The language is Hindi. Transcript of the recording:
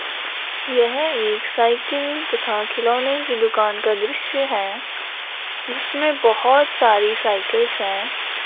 यह एक साइकिल तथा खिलौने की दुकान का दृश्य है जिसमें बहुत सारी साइकिल्स हैं।